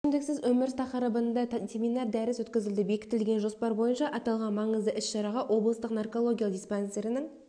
мен ішімдіксіз өмір тақырыбында семинар-дәріс өткізілді бекітілген жоспар бойынша аталған маңызды іс-шараға облыстық наркологиялық диспансерінің